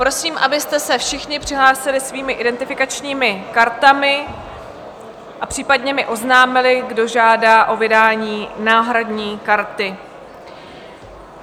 Prosím, abyste se všichni přihlásili svými identifikačními kartami a případně mi oznámili, kdo žádá o vydání náhradní karty.